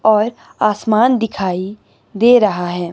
और आसमान दिखाई दे रहा है।